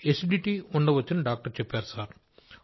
acidity ఉండవచ్చని doctor చెప్పారు sir